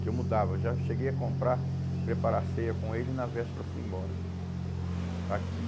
que eu mudava, já cheguei a comprar, preparar a ceia com ele e na véspera fui embora.